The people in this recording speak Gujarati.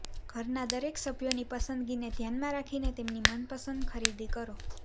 ઘરના દરેક સભ્યોની પસંદગીને ધ્યાનમાં રાખીને તેમની મનપસંદ ખરીદી કરો